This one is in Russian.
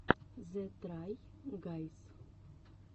зе трай гайз